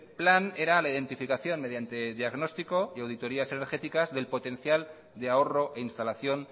plan era la identificación mediante diagnóstico y auditorías energéticas del potencial de ahorro e instalación